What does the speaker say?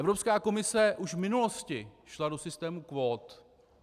Evropská komise už v minulosti šla do systému kvót.